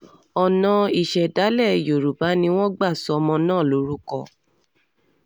ọ̀nà ìṣẹ̀dálẹ̀ yorùbá ni wọ́n um gbà sọ ọmọ náà lórúkọ um